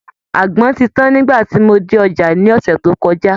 Àgbọn ti tan nigba tí mo dé ọjà ní ọ̀sẹ̀ tó kọjá